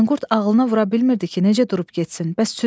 Manqurt ağlına vura bilmirdi ki, necə durub getsin?